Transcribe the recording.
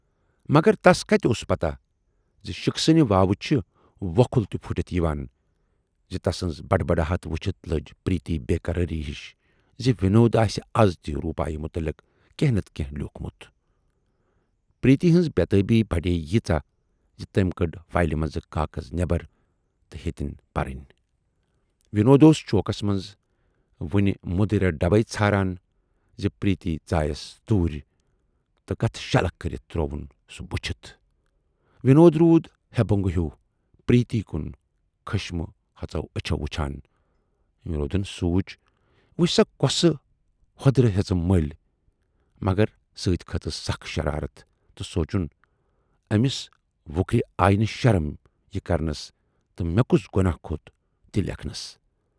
مگر تَس کتہِ ٲس پَتاہ زِ شِکسِنہٕ واوٕ چھِ وۅکھٕل تہِ پھُٹِتھ یِوان زِ تَسٕنز ہڈبڈاہٹ وُچھِتھ لٔج پریتی بیقراری ہِش زِ وِنود آسہِ اَز تہِ روٗپایہِ مُتلِق کینہہ نتہٕ کینہہ لیوٗکھمُت۔ پریتی ہٕنز بے تابی بڈییہِ ییٖژاہ زِ تمٔۍ کٔڈۍ فایلہِ منز کاغذ نٮ۪بر تہٕ ہیتٕنۍ پرٕنۍ۔ وِنود اوس چوکس منز وُنہِ مدریر ڈبے ژھاران زِ پریتی ژایَس توٗرۍ تہٕ کتھٕ شلکھ کٔرِتھ ترووُن سُہ بُچھِتھ۔ وِنود روٗد ہے بُنگہٕ ہیوٗ پریتی کُن خٍشمہٕ ۂژو ٲچھو وُچھان۔ وِنودن سوٗنچ وُچھ سا کۅسہٕ ہۅدٕر ہٮ۪ژٕم مٔلۍ مگر سٍتی کھٔژٕس سخ شرارتھ تہٕ سوٗنچُن"ٲمِس وُکرِ آیہِ نہٕ شرم یہِ کرنَس تہٕ مے کُس گۅناہ کھوت تی لیکھنَس۔